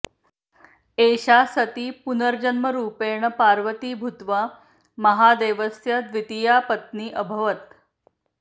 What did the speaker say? एषा सति पुनर्जन्मरूपेण पार्वती भूत्वा महादेवस्य द्वितीया पत्नी अभवत्